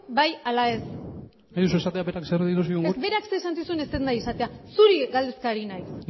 bai ala ez nahi duzu esatea berak zer esan zigun ez berak zer esan zizun ez dut nahi esatea zuri galdezka ari naiz